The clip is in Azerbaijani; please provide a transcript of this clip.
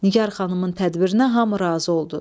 Nigar xanımın tədbirinə hamı razı oldu.